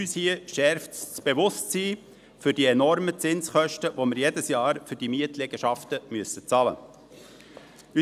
Aber es schärft unser Bewusstsein für die enormen Zinskosten, die wir jedes Jahr für diese Mietliegenschaften bezahlen müssen.